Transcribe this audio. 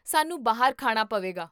ਸਾਨੂੰ ਬਾਹਰ ਖਾਣਾ ਪਵੇਗਾ